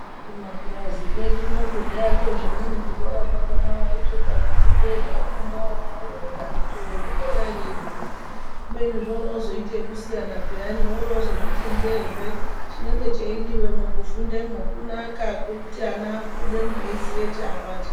Kumapurazi kwedu uno kudhaya ko zvimweni zvikora zvakona waiti ukazviti ndee zvaifunda ana worooti akiti wee zvikora ere izvizvi kubeni zvorooita zvekusiyana piyani woroozozviti ndee zve, chinenge cheidiwemwo kufundemwo kunaka kuti ana abudemwo eiziye chaabata.